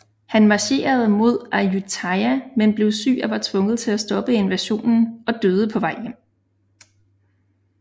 Han marcherede mod Ayutthaya men blev syg og var tvunget til at stoppe invasionen og døde på vej hjem